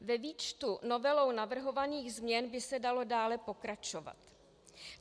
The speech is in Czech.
Ve výčtu novelou navrhovaných změn by se dalo dále pokračovat.